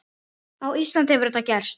Á Íslandi hefur þetta gerst.